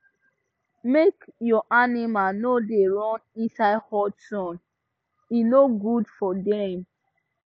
make your animal no da run inside hot sun e no good for dem